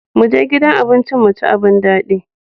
Mu je gidan abincin mu ci abun daɗi.